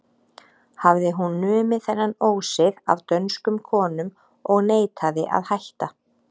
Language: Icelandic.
Hafði hún numið þennan ósið af dönskum konum og neitaði að hætta.